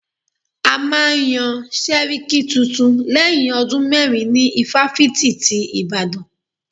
A máa yán sẹ́ríkí tuntun lẹ́yìn ọdún mérin ní ifáfitì ti Ìbàdàn.